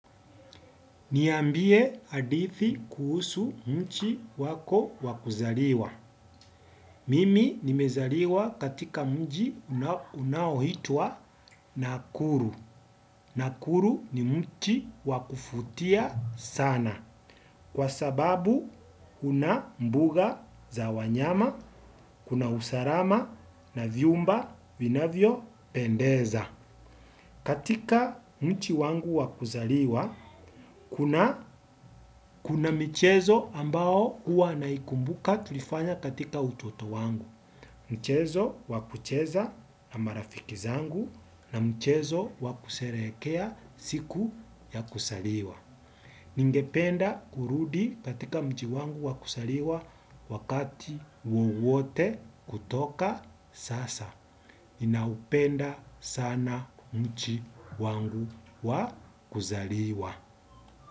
Niambie hadithi kuhusu nchi wako wakuzaliwa. Mimi nimezaliwa katika mji unaohitwa Nakuru. Nakuru ni mchi wakufutia sana. Kwasababu, kuna mbuga za wanyama, kuna usalama na vyumba vinavyo pendeza. Katika mji wangu wakuzaliwa, kuna mchezo ambao huwa naikumbuka tulifanya katika utoto wangu. Mchezo wakucheza na marafikizangu na mchezo wakusherehekea siku ya kuzaliwa. Ningependa kurudi katika mji wangu wakuzaliwa wakati wowote kutoka sasa. Naupenda sana mji wangu wa kuzaliwa.